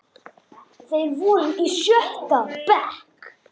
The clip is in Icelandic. Þeir voru í sjötta bekk.